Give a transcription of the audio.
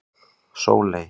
Sóley